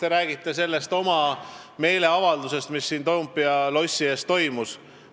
Te räägite sellest oma meeleavaldusest, mis siin Toompea lossi ees toimus.